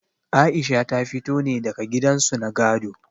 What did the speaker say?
Aisha ta fito ne daga gidan su na gado.